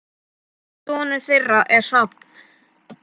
Sonur þeirra er Hrafn.